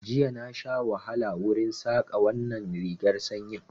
Jiya na sha wahala wurin Saƙar wannan rigar sanyin